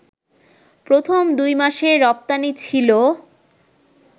প্রথম দুই মাসে রপ্তানি ছিল